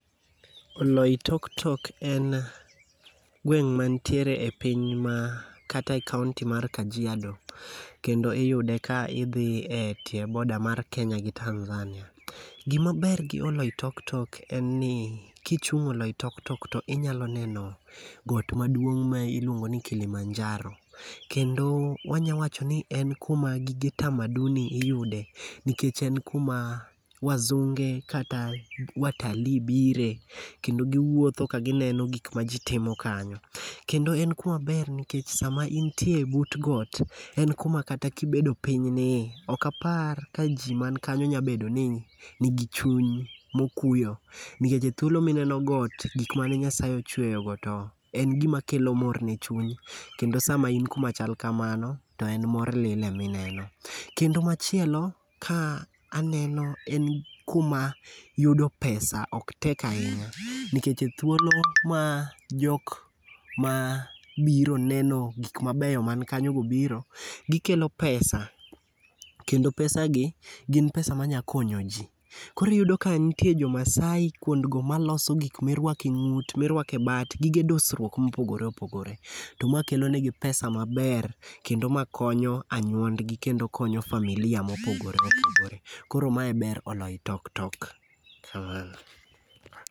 Oloitoktok en gweng' manitiere e piny ma kata e kaonti mar Kajiado. Kendo iyude ka idhi e tie border mar Kenya gi Tanzania. Gimaber gi Oloitoktok en ni kichung' Oloitoktok to inyalo neno got maduong' ma iluongo ni Kilimanjaro. Kendo wanya wacho ni en kuma gige tamaduni iyude, nikech en kuma wazunge kata watalii bire, kendo giwuotho ka gineno gik ma ji timo kanyo. Kendo en kuma ber nikech sama intie but got, en kuma kata kibedo pinyni, okapar ka ji man kanyo nya bedo ni nigi chuny mokuyo, nikech thuolo mineno got, gik mane Nyasaye ochweyogo to en gima kelo mor ne chuny, kendo sama in kuma chal kamano, to en mor lilo emi neno. Kendo machielo, ka aneno en kuma yudo pesa ok tek ahinya nikech thuolo ma jok ma biro neno gik mabeyo man kanyogo biro, gikelo pesa kendo pesagi gin pesa manya konyo ji. Koro iyudo ka nitie Jomaasai kuondgo maloso gik mirwako e ng'ut, mirwako e bat, gige dusruok mopogore opogore, to ma kelonegi pesa maber kendo ma konyo anyuondgi kendo konyo familia mopogore opogore. Koro ma e ber Oloitoktok.